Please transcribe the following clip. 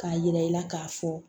K'a yira i la k'a fɔ